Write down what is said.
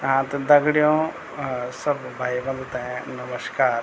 हाँ त दगडियों अ सब भाई बंदु ते नमस्कार।